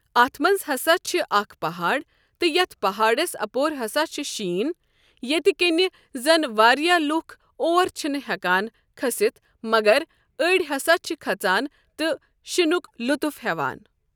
اَتھ منٛز ہسا چھ اَکھ پہاڑ تہِ یتھ پہاڑس اپور ہسا چھ شیٖن ییٚتہِ کِنۍ زن واریاہ لُکھ اور چھنہٕ ہٮ۪کان کٔھسِتھ مگر أڑۍ ہسا چھ کھژان تہٕ شِنُک لُطف ہٮ۪وان۔